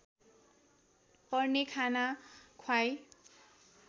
पर्ने खाना ख्वाई